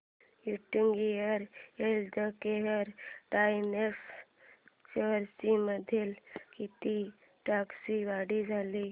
UTI healthcare direct shares मध्ये किती टक्क्यांची वाढ झाली